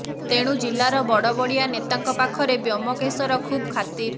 ତେଣୁ ଜିଲ୍ଲାର ବଡବଡିଆ ନେତାଙ୍କ ପାଖରେ ବ୍ୟୋମକେଶର ଖୁବ ଖାତିର